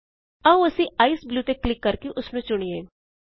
ਆਓ ਅਸੀਂ ice blue ਤੇ ਕਲਿਕ ਕਰਕੇ ਓਸਨੂੰ ਚੁਣਿਏ